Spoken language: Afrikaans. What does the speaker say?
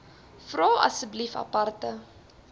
vra asseblief aparte